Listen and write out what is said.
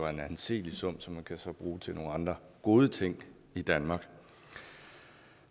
en anseelig sum som man så kan bruge til nogle andre gode ting i danmark